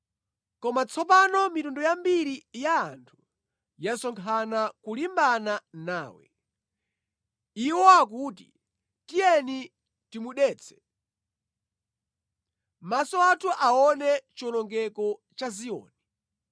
Koma tsopano mitundu yambiri ya anthu yasonkhana kulimbana nawe. Iwo akuti, “Tiyeni timudetse, maso athu aone chiwonongeko cha Ziyoni!”